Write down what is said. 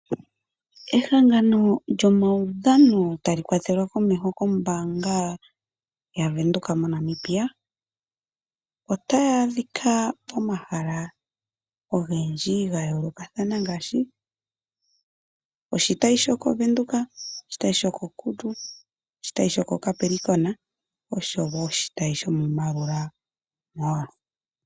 Ehangano lyomaudhano tali kwatelwa komeho kombaanga yaBank Windhoek moNamibia otaya adhika pomahala ogendji ga yoolokatahana ngaashi oshitayi shokoVenduka, oshitayi shoko Kudu, oshitayi shoko Capricorn osho wo oshitayi shomoMaroera mall.